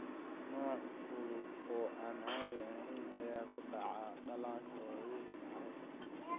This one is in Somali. Nooc fudud oo aan caadi ahayn ayaa ku dhaca dhallaanka waaweyn iyo carruurta.